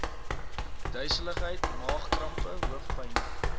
duiseligheid maagkrampe hoofpyne